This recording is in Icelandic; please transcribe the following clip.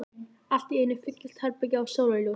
Allt í einu fyllist herbergið af sólarljósi.